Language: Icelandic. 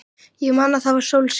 Ég man að það var sólskin.